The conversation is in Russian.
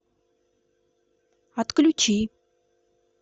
отключи